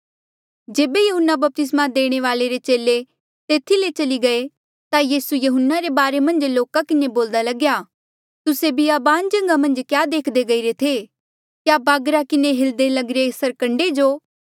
जेबे यहून्ना बपतिस्मा देणे वाल्ऐ रे चेले तेथी ले चली गये ता यीसू यहून्ना रे बारे मन्झ लोका किन्हें बोल्दा लग्या तुस्से बियाबान जगहा मन्झ क्या देख्दे गईरे थे क्या बागरा किन्हें हिल्दे लगिरे सरकंडे जो